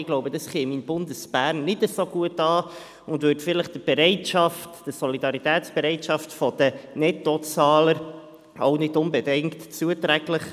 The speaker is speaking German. Ich glaube, dies käme in Bundesbern nicht so gut an und wäre vielleicht der Solidaritätsbereitschaft der Nettozahler nicht unbedingt zuträglich.